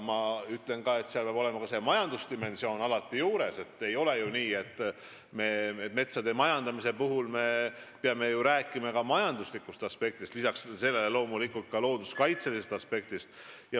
Metsade majandamise puhul me peame peale looduskaitselise aspekti rääkima ka majanduslikust aspektist.